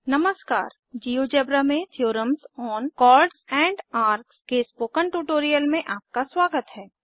नमस्कार जियोजेब्रा में theorems on chords and arcs के स्पोकन ट्यूटोरियल में आपका स्वागत है